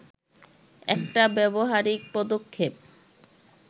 একটা ব্যবহারিক পদক্ষেপ